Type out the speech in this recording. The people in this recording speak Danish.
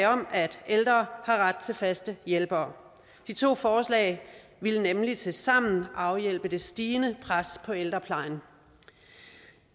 ældre får ret til faste hjælpere de to forslag ville nemlig tilsammen afhjælpe det stigende pres på ældreplejen